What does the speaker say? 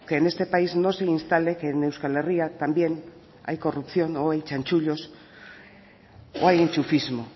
que en este país no se instale que en euskal herria también hay corrupción o hay chanchullos o hay enchufismo